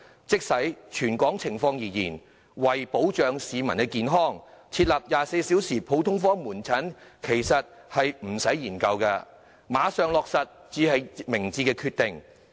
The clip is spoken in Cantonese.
即使以全港情況而言，為保障市民健康，設立24小時普通科門診服務其實不用再花時間研究，馬上落實才是明智決定。